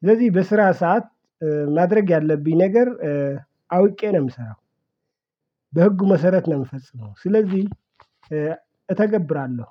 ስለዚህ በስራ ሰዓት ማድረግ ያለብኝ ነገር አውቄ ነው የምሰራው። በህጉ መሰረት ነው የምፈጽመው ስለዚህ እተገብራለሁ።